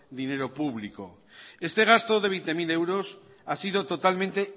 dinero público este gasto de veinte mil euros ha sido totalmente